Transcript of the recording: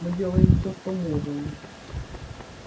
мы делаем все что можем